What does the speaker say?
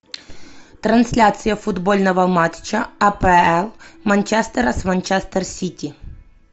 трансляция футбольного матча апл манчестера с манчестер сити